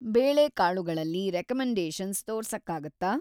ಬೇಳೆಕಾಳುಗಳಲ್ಲಿ recommendations ತೋರ್ಸಕ್ಕಾಗತ್ತಾ?